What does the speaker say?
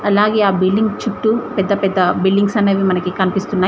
అలాగే ఆ బిల్డింగ్ చుట్టూ పెద్ద పెద్ద బిల్డింగ్స్ అనేవి మనకి కనిపిస్తున్నాయ్.